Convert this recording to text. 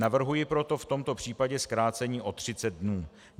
Navrhuji proto v tomto případě zkrácení o 30 dnů.